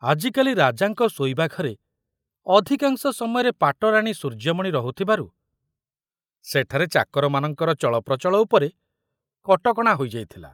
ଆଜିକାଲି ରାଜାଙ୍କ ଶୋଇବା ଘରେ ଅଧିକାଂଶ ସମୟରେ ପାଟରାଣୀ ସୂର୍ଯ୍ୟମଣି ରହୁଥିବାରୁ ସେଠାରେ ଚାକରମାନଙ୍କର ଚଳପ୍ରଚଳ ଉପରେ କଟକଣା ହୋଇଯାଇଥିଲା।